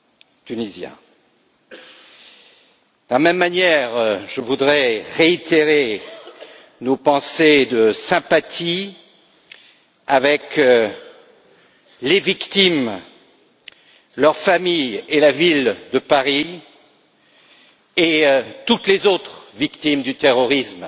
De la même manière, je voudrais réitérer nos pensées de sympathie qui vont aux victimes, à leurs familles, à la ville de Paris et à toutes les autres victimes du terrorisme,